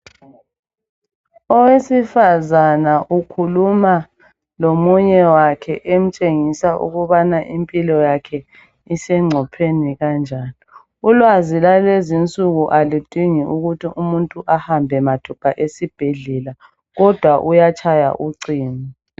Owesifazana ukhuluma lomunye wakhe emtshengisa ukubana impilo yakhe isengcopheni kanjani. Ulwazi lwalezinsuku aludingi ukuthi umuntu ahambe mathupha esibhedlela kodwa uyatshaya ucingo